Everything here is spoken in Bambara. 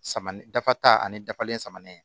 Sama ni dafa ta ani dafalen samanin